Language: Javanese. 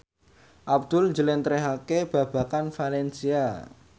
Abdul njlentrehake babagan valencia